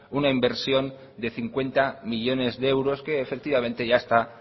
una inversión de cincuenta millónes de euros que efectivamente ya está